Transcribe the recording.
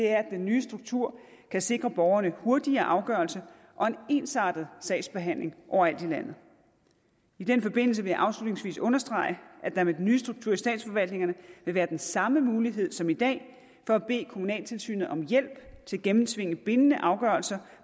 er at den nye struktur kan sikre borgerne hurtigere afgørelse og en ensartet sagsbehandling overalt i landet i den forbindelse vil jeg afslutningsvis understrege at der med den nye struktur i statsforvaltningerne vil være den samme mulighed som i dag for at bede kommunaltilsynet om hjælp til at gennemtvinge bindende afgørelser